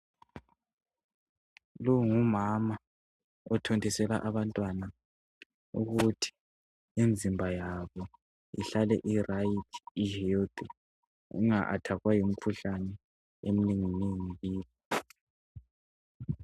Lo ngumama othontisela abantwana ukuthi imzimba yabo ihlale iright ihealthy inga athakwa yimikhuhlane eminenginengi.